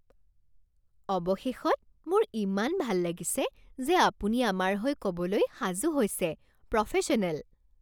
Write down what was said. অৱশেষত! মোৰ ইমান ভাল লাগিছে যে আপুনি আমাৰ হৈ ক'বলৈ সাজু হৈছে প্ৰফেশ্যনেল ।